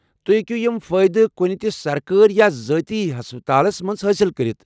تُہۍ ہیٚکو یم فٲئدٕ کُنِہ تہِ سرکٲرۍ یا ذٲتی ہسپتالس منٛز حٲصل کٔرتھ ۔